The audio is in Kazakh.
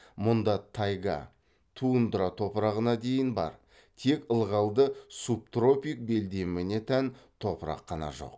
мұнда тайга тундра топырағына дейін бар тек ылғалды субтропик белдеміне тән топырақ қана жоқ